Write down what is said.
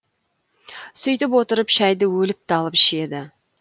сөйтіп отырып шәйді өліп талып ішеді